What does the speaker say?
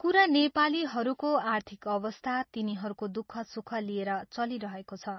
कुरा नेपालीहरूको आर्थिक अवस्था, तिनीहरूको दुःख सुख लिएर चलिरहेको छ।